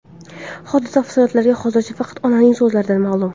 Hodisa tafsilotlari hozircha faqat onaning so‘zlaridan ma’lum.